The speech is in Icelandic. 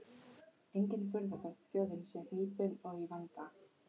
Engin furða þótt þjóðin sé hnípin og í vanda.